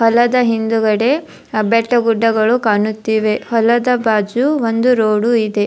ಹೋಲದ ಹಿಂದುಗಡೆ ಬೆಟ್ಟಗುಡ್ಡಗಳು ಕಾಣುತ್ತಿವೆ ಹೊಲದ ಬಾಜು ಒಂದು ರೊಡು ಇದೆ.